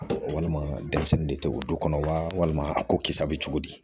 Walima denmisɛnnin de tɛ o du kɔnɔ walima a ko kisa bɛ cogo di